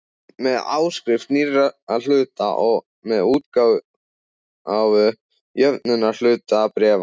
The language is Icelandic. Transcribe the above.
með áskrift nýrra hluta og með útgáfu jöfnunarhlutabréfa.